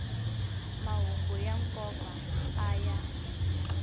mahungu ya nkoka a ya